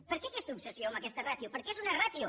per què aquesta obsessió amb aquesta ràtio perquè és una ràtio